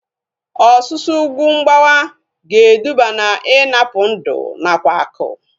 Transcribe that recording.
Ọsusu ugwu mgbawa ga-eduba na ịnapụ ndụ nakwa akụ